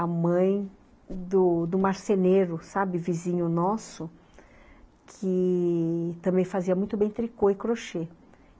a mãe do do marceneiro, sabe, vizinho nosso, que também fazia muito bem tricô e crochê.